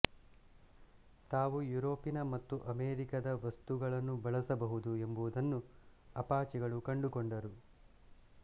ತಾವು ಯುರೋಪಿನ ಮತ್ತು ಅಮೆರಿಕದ ವಸ್ತುಗಳನ್ನು ಬಳಸಬಹುದು ಎಂಬುದನ್ನು ಅಪಾಚೆಗಳು ಕಂಡುಕೊಂಡರು